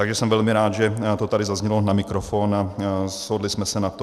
Takže jsem velmi rád, že to tady zaznělo na mikrofon a shodli jsme se na tom.